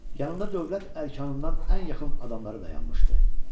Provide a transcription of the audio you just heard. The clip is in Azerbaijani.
Yanında dövlət ərkanından ən yaxın adamları da dayanmışdı.